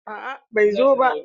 A'a bai zo ko ba.